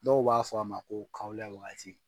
Dɔw b'a fɔ a ma ko kawla waati.